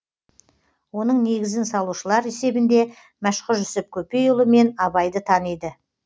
оның негізін салушылар есебінде мәшһүр жүсіп көпейұлы мен абайды таниды